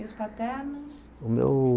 E os paternos? O meu